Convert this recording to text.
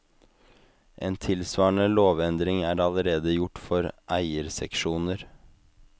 En tilsvarende lovendring er allerede gjort for eierseksjoner.